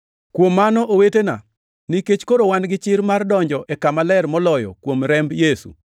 Kuom mano owetena, nikech koro wan gi chir mar donjo e Kama Ler Moloyo kuom remb Yesu,